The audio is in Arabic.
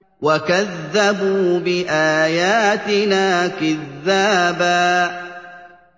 وَكَذَّبُوا بِآيَاتِنَا كِذَّابًا